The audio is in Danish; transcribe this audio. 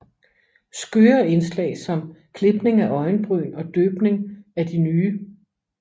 Skøre indslag som klipning af øjenbryn og døbning af de nye